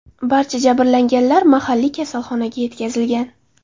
Barcha jabrlanganlar mahalliy kasalxonaga yetkazilgan.